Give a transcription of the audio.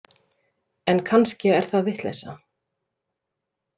En kannski er það vitleysa.